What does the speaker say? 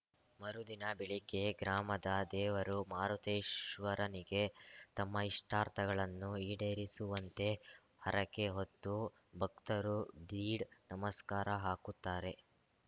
ಮರುದಿನ ಬೆಳಿಗ್ಗೆ ಗ್ರಾಮದ ದೇವರು ಮಾರುತೇಶ್ವರನಿಗೆ ತಮ್ಮ ಇಷ್ಟಾರ್ಥಗಳನ್ನು ಈಡೇರಿಸುವಂತೆ ಹರಕೆ ಹೊತ್ತು ಭಕ್ತರು ದೀಡ್‌ ನಮಸ್ಕಾರ ಹಾಕುತ್ತಾರೆ